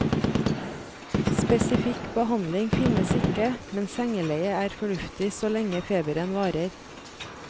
Spesifikk behandling finnes ikke, men sengeleie er fornuftig så lenge feberen varer.